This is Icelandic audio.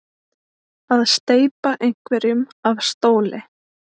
Að steypa einhverjum af stóli